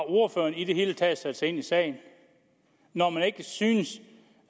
ordføreren i det hele taget har sat sig ind i sagen når man ikke synes